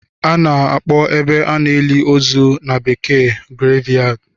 Ana akpo ebe a na-eli ozu na bekee Graveyard